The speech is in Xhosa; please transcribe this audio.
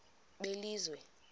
belizwe